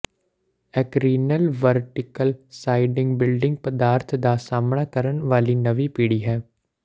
ਐਕਰੀਨਲ vertical siding building ਪਦਾਰਥ ਦਾ ਸਾਹਮਣਾ ਕਰਨ ਵਾਲੀ ਨਵੀਂ ਪੀੜ੍ਹੀ ਹੈ